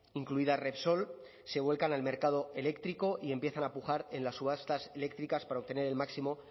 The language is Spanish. incluida repsol se vuelvan en el mercado eléctrico y empiezan a pujar en las subastas eléctricas para obtener el máximo